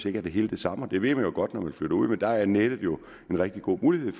ikke er helt den samme det ved man jo godt når man flytter ud og der er nettet en rigtig god mulighed